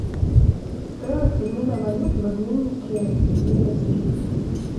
стоимость обмена валют в обменнике лиговский